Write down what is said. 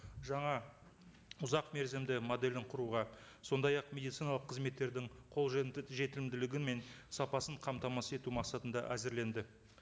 жаңа ұзақ мерзімді моделін құруға сондай ақ медициналық қызметтердің қолжетімділігі мен сапасын қамтамасыз ету мақсатында әзірленді